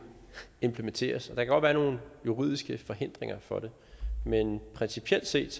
implementeres og der kan godt være nogle juridiske forhindringer for det men principielt set